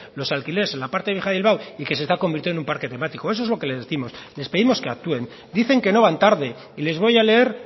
los alquileres en la parte vieja de bilbao y que se está convirtiendo en un parque temático eso es lo que les décimos les pedimos que actúen dicen que no van tarde y les voy a leer